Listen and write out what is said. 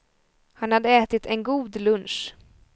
Han hade ätit en god lunch.